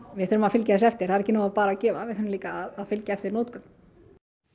við þurfum að fylgja þessu eftir það er ekki nóg að gefa við þurfum líka að fylgja eftir notkun